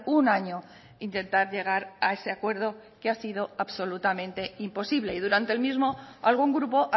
un año intentar llegar a ese acuerdo que ha sido absolutamente imposible y durante el mismo algún grupo